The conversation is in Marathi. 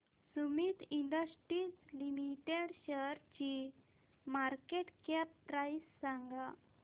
सुमीत इंडस्ट्रीज लिमिटेड शेअरची मार्केट कॅप प्राइस सांगा